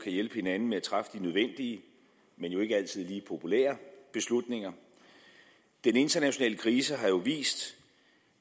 hjælpe hinanden med at træffe de nødvendige men jo ikke altid lige populære beslutninger den internationale krise har vist